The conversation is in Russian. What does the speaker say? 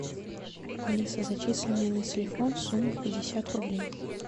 алиса зачисли мне на телефон сумму пятьдесят рублей